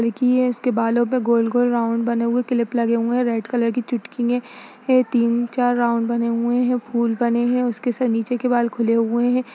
लड़की है उसके बालों पे गोल गोल राउंड बने हुए किलिप लगे हुए हैं। रेड कलर की चुटकी ने हैं। तीन चार राउंड बने हुए हैं फूल बने हैं। उसके सर नीचे के बाल खुले हुए हैं।